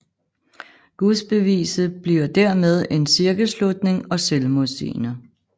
Gudsbeviset bliver dermed en cirkelslutning og selvmodsigende